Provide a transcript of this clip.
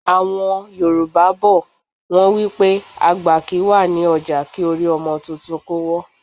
Àwọn Yorùbá bọ̀, wọn wípé àgbà kì ń wà ní ọjà kí orí ọmọ tuntun kó wọ́.